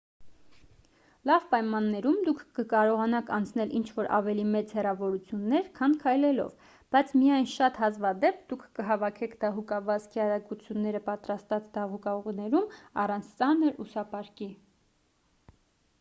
լավ պայմաններում դուք կկարողանաք անցնել ինչ-որ ավելի մեծ հեռավորություններ քան քայլելով բայց միայն շատ հազվադեպ դուք կհավաքեք դահուկավազքի արագությունները պատրաստված դահուկուղիներում առանց ծանր ուսապարկի